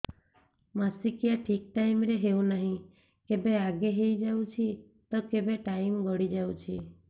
ମାସିକିଆ ଠିକ ଟାଇମ ରେ ହେଉନାହଁ କେବେ ଆଗେ ହେଇଯାଉଛି ତ କେବେ ଟାଇମ ଗଡି ଯାଉଛି